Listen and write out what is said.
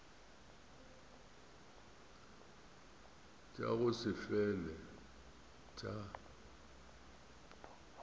tša go se fele tša